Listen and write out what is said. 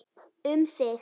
Um þig.